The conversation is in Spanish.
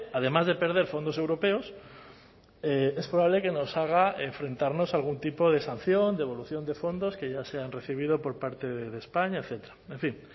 además de perder fondos europeos es probable que nos haga enfrentarnos a algún tipo de sanción devolución de fondos que ya se han recibido por parte de españa etcétera en fin